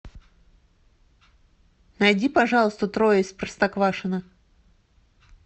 найди пожалуйста трое из простоквашино